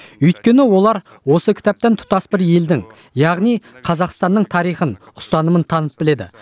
өйткені олар осы кітаптан тұтас бір елдің яғни қазақстанның тарихын ұстанымын танып біледі